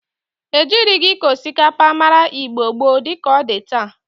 Ejirigi ịkọ osikapa mara Igbo gboo di ka ọ dị taa.